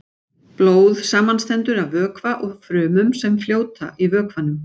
Blóð samanstendur af vökva og frumum sem fljóta í vökvanum.